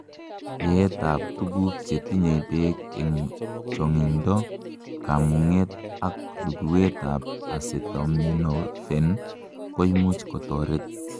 yeet ab tuguk chetinyei beek en chongindo ,kamunget ak luguwet ab acetaminophen koimuch kotoret